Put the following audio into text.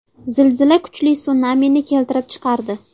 Zilzila kuchli sunamini keltirib chiqardi.